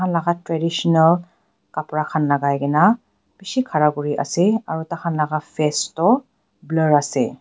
laka traditional kapra khan lakai kaena bishi khara kuriase aro takhan laka face toh blur ase.